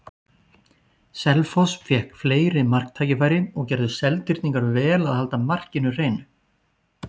Selfoss fékk fleiri marktækifæri og gerðu Seltirningar vel að halda markinu hreinu.